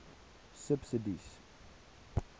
subsidies